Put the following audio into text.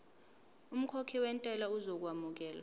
umkhokhi wentela uzokwamukelwa